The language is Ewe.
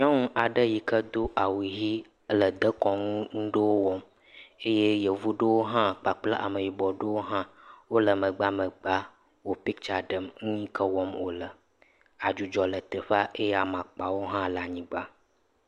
Nyɔnu aɖe yi ke do awu ʋi ele dekɔnu ŋu ɖewo wɔm. Eye Yevu ɖewo hã kpakple Ameyibɔ ɖewo wole megbamegba woo pitsa ɖem ŋu yi ke wɔm wole. Adzudzɔ le teƒea eye amakpawo hã le anyigba.